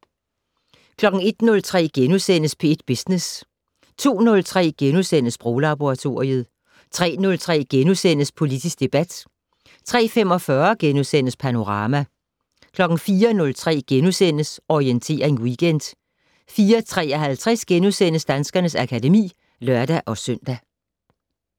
01:03: P1 Business * 02:03: Sproglaboratoriet * 03:03: Politisk debat * 03:45: Panorama * 04:03: Orientering Weekend * 04:53: Danskernes akademi *(lør-søn)